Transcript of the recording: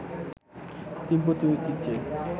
তিব্বতী ঐতিহ্যে